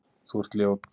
Þú ert ljót